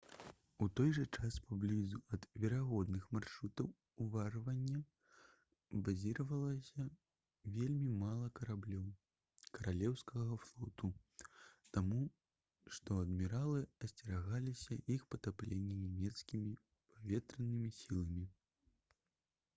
у той жа час паблізу ад верагодных маршрутаў уварвання базіравалася вельмі мала караблёў каралеўскага флоту таму што адміралы асцерагаліся іх патаплення нямецкімі паветранымі сіламі